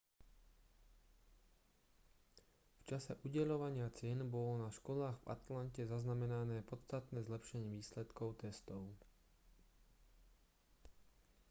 v čase udeľovania cien bolo na školách v atlante zaznamenané podstatné zlepšenie výsledkov testov